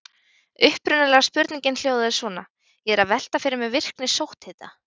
Upprunalega spurningin hljóðaði svona: Ég er að velta fyrir mér virkni sótthita.